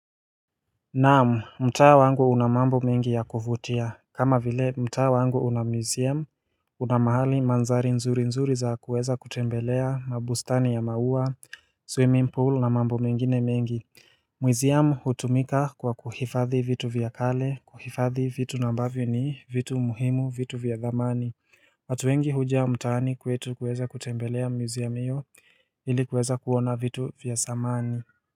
Naam, mtaa wangu una mambo mingi ya kuvutia, kama vile mtaa wangu una museum Una mahali mandhari nzuri nzuri za kuweza kutembelea mabustani ya maua, swimming pool na mambo mingine mengi Museum hutumika kwa kuhifadhi vitu vya kale, kuhifadhi vitu na ambavyo ni vitu muhimu vitu vya dhamani watu wengi huja mtaani kwetu kuweza kutembelea museum iyo ili kuweza kuona vitu vya zamani.